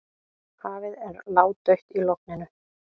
Hafið er ládautt í logninu.